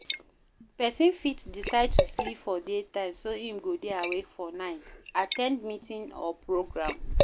Persin fit decide to sleep for day time so im go de awake for night at ten d meeting or programme